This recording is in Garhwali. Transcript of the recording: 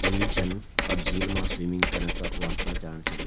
झील छन और झील मा स्विमिंग कना का वास्ता जाण छा लग्याँ।